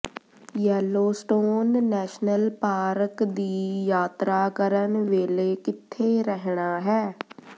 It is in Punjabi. ਯੈਲੋਸਟੋਨ ਨੈਸ਼ਨਲ ਪਾਰਕ ਦੀ ਯਾਤਰਾ ਕਰਨ ਵੇਲੇ ਕਿੱਥੇ ਰਹਿਣਾ ਹੈ